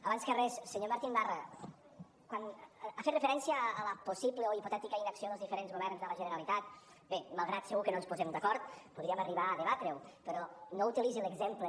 abans que res senyor martín barra quan ha fet referència a la possible o hipotètica inacció dels diferents governs de la generalitat bé malgrat que segur que no ens posem d’acord podríem arribar a debatre ho però no utilitzi l’exemple